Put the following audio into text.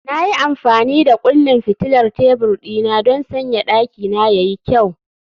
Na yi amfani da kullin fitilar tebur dina don sanya dakina ya yi kyau